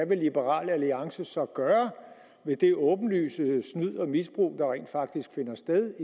hvad liberal alliance så vil gøre ved det åbenlyse snyd og misbrug der rent faktisk finder sted